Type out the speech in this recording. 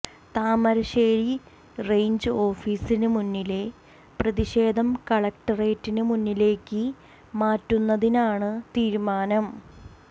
Thamarassery range ഓഫിസിന് മുന്നിലെ പ്രതിഷേധം കലക്ടറേറ്റിന് മുന്നിലേക്ക് മാറ്റുന്നതിനാണ് തീരുമാനം